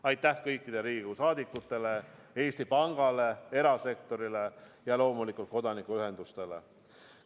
Aitäh kõikidele Riigikogu liikmetele, Eesti Pangale, erasektorile ja loomulikult kodanikuühendustele!